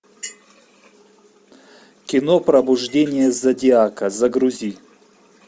кино пробуждение зодиака загрузи